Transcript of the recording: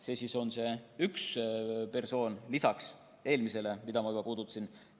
See on siis üks persoonist lisaks eelmisele, keda ma juba puudutasin.